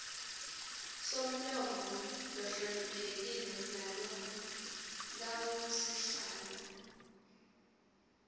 somlomo lohloniphekile nalokangusihlalo